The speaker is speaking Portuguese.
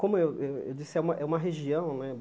Como eu eu disse, é é uma região, né?